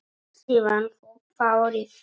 Síðan þú þáðir það?